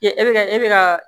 E bɛ ka e bɛ ka